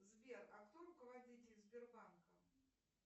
сбер а кто руководитель сбербанка